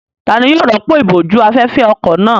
Ta ni yóò rọ́pò ìbòjú-afẹ́fẹ́ ọkọ̀ náà?